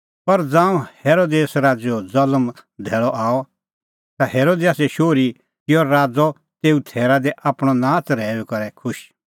पर ज़ांऊं हेरोदेस राज़ैओ ज़ल्म धैल़अ आअ ता हेरोदियासे शोहरी किअ राज़ तेऊ थैरा दी आपणअ नाच़ रहैऊई करै खुश